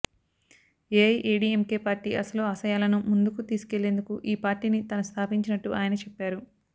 AIADMK party అసలు ఆశయాలను ముందుకు తీసుకెళ్లేందుకు ఈ పార్టీని తాను స్థాపించినట్టు ఆయన చెప్పారు